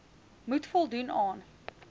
moet voldoen aan